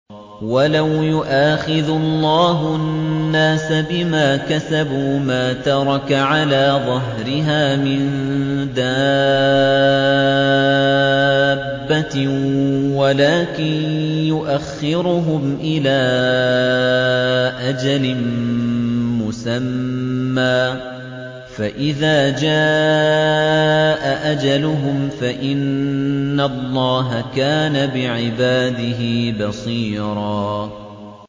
وَلَوْ يُؤَاخِذُ اللَّهُ النَّاسَ بِمَا كَسَبُوا مَا تَرَكَ عَلَىٰ ظَهْرِهَا مِن دَابَّةٍ وَلَٰكِن يُؤَخِّرُهُمْ إِلَىٰ أَجَلٍ مُّسَمًّى ۖ فَإِذَا جَاءَ أَجَلُهُمْ فَإِنَّ اللَّهَ كَانَ بِعِبَادِهِ بَصِيرًا